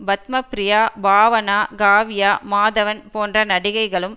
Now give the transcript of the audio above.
பத்மப்ரியா பாவனா காவ்யா மாதவன் போன்ற நடிகைகளும்